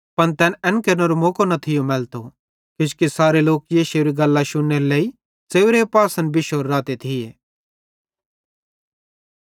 पन तैन एन केरनेरो मौको न थियो मैलतो किजोकि सारे लोक यीशुएरी गल्लां शुन्नेरे लेइ च़ेव्रे पासन बिश्शोरे रहते थिये